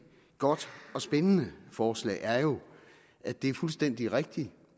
godt og spændende forslag er jo at det er fuldstændig rigtigt